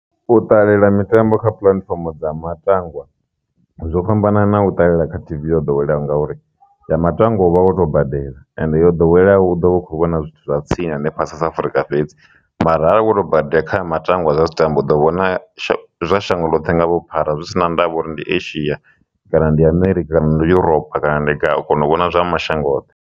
U ṱalela mitambo kha puḽatifomo dza matangwa zwo fhambanana na u ṱalela kha T_V yo ḓoweleaho ngauri ya matangwa uvha a khoto badela ende yo ḓowela hu ḓo vha u kho vhona zwithu zwa tsini hanefha South Afrika fhedzi, mara avha akho to badi kha matangwa zwa mitambo ḓo vhona zwa shango ḽoṱhe nga vhuphara zwi si na ndavha uri ndi Asia kana ndi America kana ndi Europa kana ndi kana ndi gai u kona uvhona zwa mashango oṱhe.